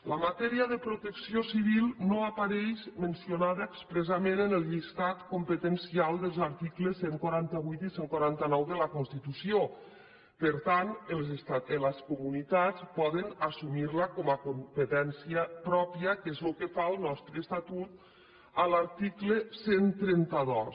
la matèria de protecció civil no apareix mencionada expressament en el llistat competencial dels articles cent i quaranta vuit i cent i quaranta nou de la constitució per tant les comunitats poden assumir la com a competència pròpia que és el que fa el nostre estatut a l’article cent i trenta dos